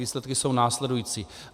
Výsledky jsou následující.